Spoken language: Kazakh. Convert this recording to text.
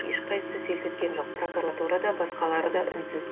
ешқайсысы селт еткен жоқ прокуратура да басқалары да үнсіз